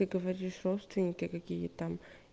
ты говоришь родственники какие там